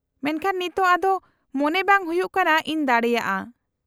-ᱢᱮᱱᱠᱷᱟᱱ ᱱᱤᱛᱚᱜ ᱟᱫᱚ ᱢᱚᱱᱮ ᱵᱟᱝ ᱦᱩᱭᱩᱜ ᱠᱟᱱᱟ ᱤᱧ ᱫᱟᱲᱮᱭᱟᱜᱼᱟ ᱾